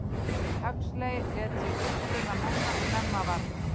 Huxley lét sig uppruna manna snemma varða.